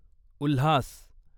Ulhas